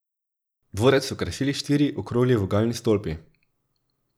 Dvorec so krasili štiri okrogli vogalni stolpi.